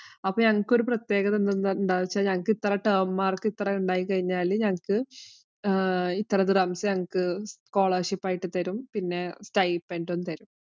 അപ്പൊ ഞങ്ങള്‍ക്ക് ഒരു പ്രത്യേകത എന്താന്നു വച്ചാല്‍ ഇത് term mark ഇത്ര ഉണ്ടായിക്കഴിഞ്ഞാല്‍ ഞങ്ങള്‍ക്ക് ഇത്ര ദര്‍ഹംസ് ഞങ്ങള്‍ക്ക് scholarship ആയി തരും. പിന്നെ stipend ഉം തരും.